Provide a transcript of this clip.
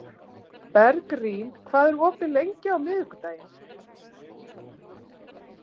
Bergrín, hvað er opið lengi á miðvikudaginn?